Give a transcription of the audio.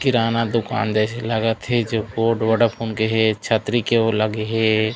किराना दुकान जैसे लागत हे जो ओड वोडाफोन के हे छतरी के ओ लगे हे।